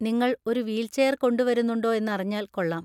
നിങ്ങൾ ഒരു വീൽചെയർ കൊണ്ടുവരുന്നുണ്ടോ എന്നറിഞ്ഞാല്‍ കൊള്ളാം.